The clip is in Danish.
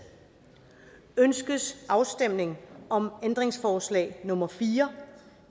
ønskes afstemning om ændringsforslag nummer fire